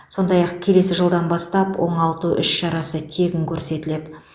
сондай ақ келесі жылдан бастап оңалту іс шарасы тегін көрсетіледі